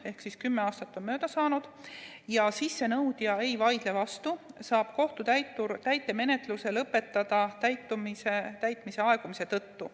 Ehk siis, kui 10 aastat on mööda saanud ja sissenõudja ei vaidle vastu, saab kohtutäitur täitemenetluse lõpetada täitmise aegumise tõttu.